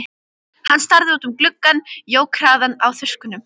Hann starði út um gluggann, jók hraðann á þurrkunum.